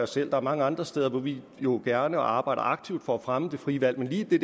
selv der er mange andre steder hvor vi jo gerne arbejder aktivt for at fremme det frie valg men lige i